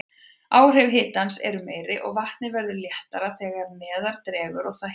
Áhrif hitans eru meiri, og vatnið verður léttara þegar neðar dregur og það hitnar.